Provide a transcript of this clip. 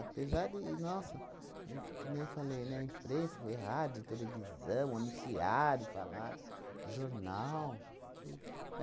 Apesar de, nossa, é em que nem eu falei, né, imprensa, foi rádio, televisão, anunciaram, falaram, jornal, tudo.